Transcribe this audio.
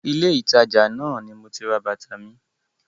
Ilé ìtajà náà ni moti ra bàtà mi.